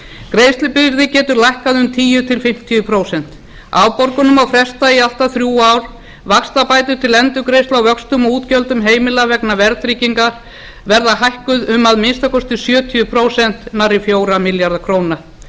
greiðslubyrði getur lækkað um tíu til fimmtíu prósent afborgunum má fresta í allt að þrjú án vaxtabætur til endurgreiðslu á vöxtum og útgjöldum heimila vegna verðtrygginga verða hækkuð um að minnsta kosti sjötíu prósent fjóra milljarða króna